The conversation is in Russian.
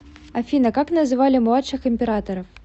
афина как называли младших императоров